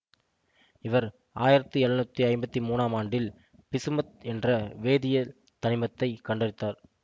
இவர் ஆயிரத்தி எழுநூற்றி ஐம்பத்தி மூன்னாம் ஆண்டில் பிசுமத் என்ற வேதியியல் தனிமத்தைக் கண்டறிந்தார்